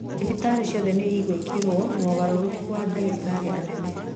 Thibitarĩ ciothe nĩ igwĩkwo mogarũrũku wa dagĩtarĩ anene